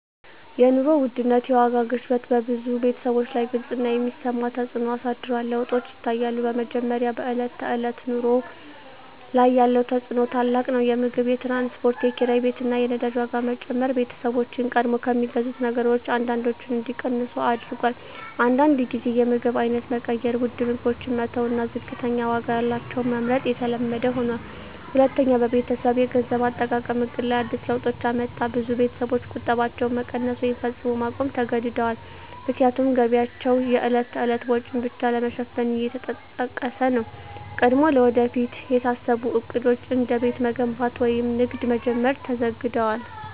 የኑሮ ውድነት (የዋጋ ግሽበት) በብዙ ቤተሰቦች ላይ ግልጽ እና የሚሰማ ተፅዕኖ አሳድሯል። ለውጦች ይታያሉ፦ በመጀመሪያ፣ በዕለት ተዕለት ኑሮ ላይ ያለው ተፅዕኖ ታላቅ ነው። የምግብ፣ የትራንስፖርት፣ የኪራይ ቤት እና የነዳጅ ዋጋ መጨመር ቤተሰቦችን ቀድሞ ከሚገዙት ነገሮች አንዳንዶቹን እንዲቀንሱ አድርጎአል። አንዳንድ ጊዜ የምግብ አይነት መቀየር (ውድ ምግቦችን መተው እና ዝቅተኛ ዋጋ ያላቸውን መመርጥ) የተለመደ ሆኗል። ሁለተኛ፣ በቤተሰብ የገንዘብ አጠቃቀም ዕቅድ ላይ አዲስ ለውጦች አመጣ። ብዙ ቤተሰቦች ቁጠባቸውን መቀነስ ወይም ፈጽሞ ማቆም ተገድደዋል፣ ምክንያቱም ገቢያቸው የዕለት ተዕለት ወጪን ብቻ ለመሸፈን እየተጠቀሰ ነው። ቀድሞ ለወደፊት የታሰቡ ዕቅዶች፣ እንደ ቤት መገንባት ወይም ንግድ መጀመር፣ ተዘግደዋል።